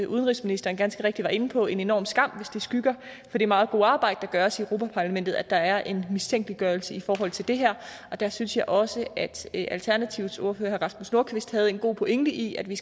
udenrigsministeren ganske rigtigt var inde på en enorm skam hvis det skygger for det meget gode arbejde der gøres i europa parlamentet at der er en mistænkeliggørelse i forhold til det her og der synes jeg også at alternativets ordfører herre rasmus nordqvist havde en god pointe i at vi